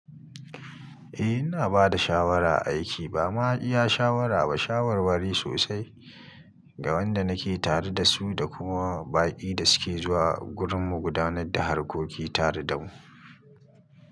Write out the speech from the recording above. Eh ina bada shawara a aiki, bama iya shawara ba, shawarwari sosai ga wanda nake tare da su da kuma baƙi da suke zuwa gurin mu gudanar da harkoki tare da mu.